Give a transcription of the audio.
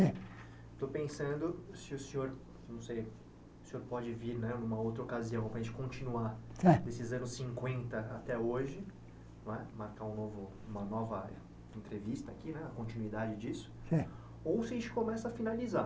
É Estou pensando se o senhor não seria o senhor pode vir né numa outra ocasião para a gente continuar É nesses anos cinquenta até hoje não é, marcar um novo uma nova entrevista aqui né, a continuidade disso, É ou se a gente começa a finalizar.